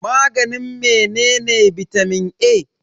Maganin menene bitamin A?